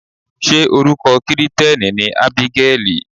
Ṣé orúkọ Kirìtẹ́nì ni Ábígẹ́lì?